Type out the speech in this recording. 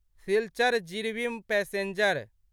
Silchar Jiribam passenger